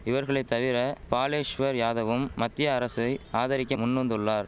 இவர்களை தவிர பாலேஷ்வர் யாதவும் மத்திய அரசை ஆதரிக்க முன்வந்துள்ளார்